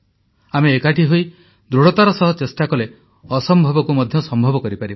ଆମେ ଏକାଠି ହୋଇ ଦୃଢ଼ତାର ସହ ଚେଷ୍ଟା କଲେ ଅସମ୍ଭବକୁ ମଧ୍ୟ ସମ୍ଭବ କରିପାରିବା